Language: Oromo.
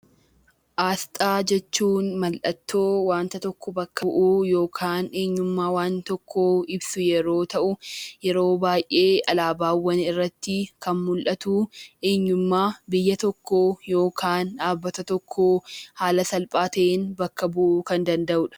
Asxaa jechuun mallattoo waan tokko bakka bu'uu yookaan eenyummaa waan tokkoo ibsu yeroo ta'uu, yeroo baay'ee alaabaawwan irratti kan mul'atu, eenyummaa biyya tokkoo yookaan dhaabbata tokkoo haala salphaa ta'een bakka bu'uu kan danda'u dha.